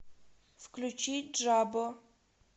включи джабо